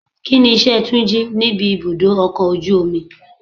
Kíni iṣẹ́ Túnjí níbi ibùdó ọkọ̀ ojú omi?